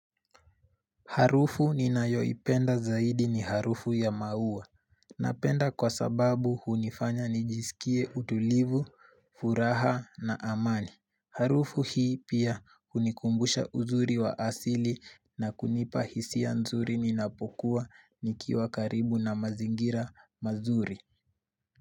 Harufu ninayoipenda zaidi ni harufu ya maua, napenda kwa sababu hunifanya nijisikie utulivu, furaha na amani. Harufu hii pia hunikumbusha uzuri wa asili na kunipa hisia nzuri ninapokua nikiwa karibu na mazingira mazuri.